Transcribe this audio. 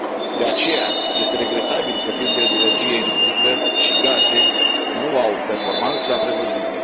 De aceea este regretabil că piețele de energie electrică și gaze nu au performanța prevăzută.